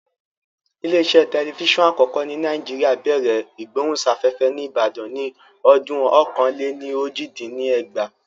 Ilé iṣẹ́ tẹlifíṣọ̀n àkọ́kọ́ ní Nàìjíríà bẹ̀rẹ̀ ìgbóhùnsáfẹ́fẹ́ ní Ìbàdàn ní ọdún ọ̀kan-lé-ní-ojì dín ní ẹgbàá